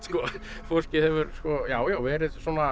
fólkið hefur verið